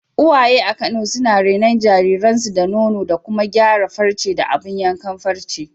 Uwaye a Kano suna renon jariransu da nono da kuma gyara farce da abun yankan farce.